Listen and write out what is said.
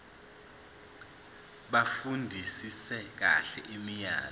bafundisise kahle imiyalelo